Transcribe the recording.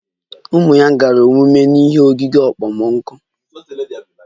Ụmụ ya gara ọmụmụ ihe n'oge okpomọkụ